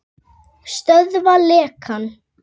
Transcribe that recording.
Stöðva lekann.